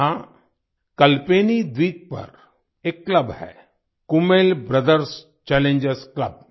यहां कल्पेनी द्वीप पर एक क्लब है कूमेल ब्रदर्स चैलेंजर्स क्लब